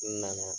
N nana